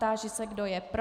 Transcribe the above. Táži se, kdo je pro.